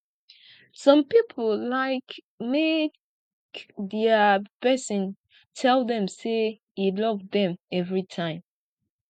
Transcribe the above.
some pipo like make dia pesin tell dem say e love dem everytime